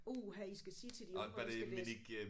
Uha I skal sige til de unge at de skal læse